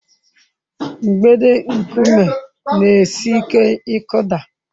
Mgbidi nkume na-esi ike ịkụda.